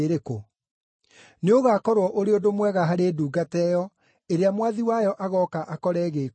Nĩũgakorwo ũrĩ ũndũ mwega harĩ ndungata ĩyo, ĩrĩa mwathi wayo agooka akore ĩgĩĩka ũguo.